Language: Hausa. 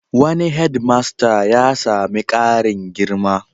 Wani hedmasta ya sami ƙarin girma.